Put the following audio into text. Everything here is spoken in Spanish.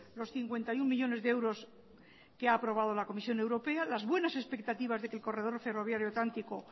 los cincuenta y uno millónes de euros que ha aprobado la comisión europea las buenas expectativas de que el corredor ferroviario atlántico